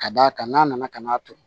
Ka d'a kan n'a nana ka n'a turu